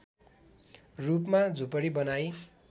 रूपमा झुपडी बनाई